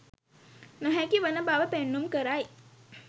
නොහැකි වන බව පෙන්නුම් කරයි.